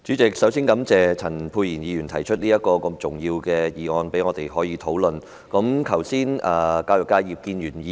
主席，我首先感謝陳沛然議員提出一項這麼重要的議案，讓我們可就此進行辯論。